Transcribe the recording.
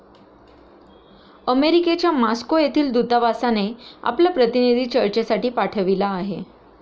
अमेरिकेच्या मॉस्को येथील दूतावासाने आपला प्रतिनिधी चर्चेसाठी पाठविला आहे.